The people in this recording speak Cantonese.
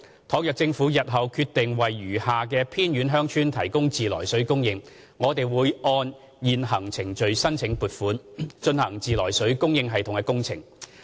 倘若政府日後決定為餘下的偏遠鄉村提供自來水供應，我們會按現行程序申請撥款，進行自來水供應系統工程。